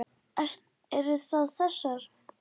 Eru það þessar?